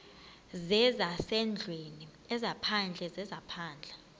zezasendlwini ezaphandle zezaphandle